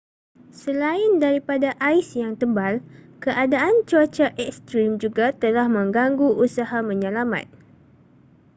selain daripada ais yang tebal keadaan cuaca ekstrim juga telah menggangu usaha menyelamat